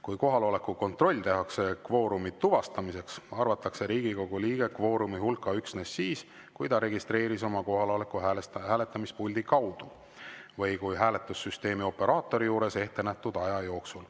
Kui kohaloleku kontroll tehakse kvoorumi tuvastamiseks, arvatakse Riigikogu liige kvoorumi hulka üksnes siis, kui ta registreeris oma kohaloleku hääletamispuldi kaudu või hääletussüsteemi operaatori juures ettenähtud aja jooksul.